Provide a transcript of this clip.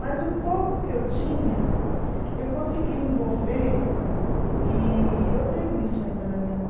Mas o pouco que eu tinha, eu consegui envolver e eu tenho isso ainda na minha mão.